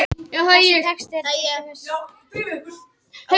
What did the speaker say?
Þessi texti er til dæmis tvær efnisgreinar.